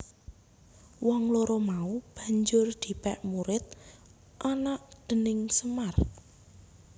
Wong loro mau banjur dipèk murid anak déning Semar